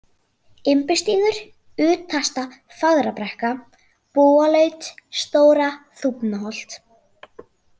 Imbustígur, Utasta-Fagrabrekka, Búalaut, Stóra-Þúfnaholt